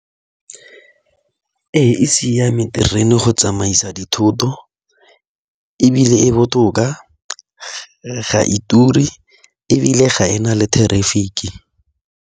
Ee, e siame terene go tsamaisa dithoto ebile e botoka ga e ture ebile ga ena le traffic-ke.